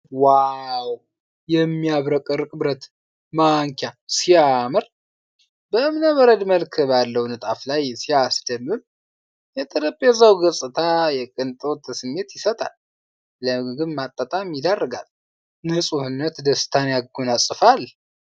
ዋው ! የሚያብረቀርቅ የብረት ማንኪያ ሲያምር ! በእብነበረድ መልክ ባለው ንጣፍ ላይ ሲያስደምም። የጠረጴዛው ገጽታ የቅንጦት ስሜት ይሰጣል። ለምግብ ማጣጣም ይዳርጋል ። ንጹህነት ደስታን ያጎናፅፋል።